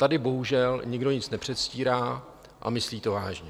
Tady bohužel nikdo nic nepředstírá a myslí to vážně.